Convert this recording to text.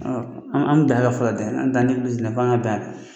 An bɛ bɛn a kan fɔlɔ fo an ka bɛn a kan